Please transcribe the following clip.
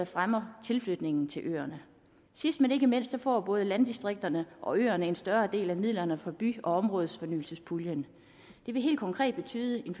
fremmer tilflytningen til øerne sidst men ikke mindst får både landdistrikterne og øerne en større del af midlerne fra by og områdefornyelsespuljen det vil helt konkret betyde en